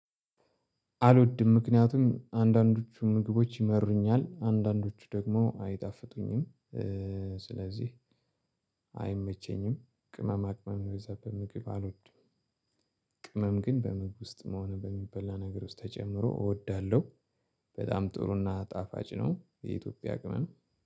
አልወድም። ምክንያቱም አንዳንዶቹ ምግቦች ይመሩኛል፣ አንዳንዶቹ ደግሞ አይጣፍጡኝም። ስለዚህ አይመቸኝም። ቅመማ ቅመም በዛ በምግብ አልወድም። ቅመም ግን በምግብ ውስጥ ሆነ በሚበላ ነገር ውስጥ ተጨምሮ እወዳለሁ። በጣም ጥሩና ጣፋጭ ነው። የኢትዮጵያ ቅመም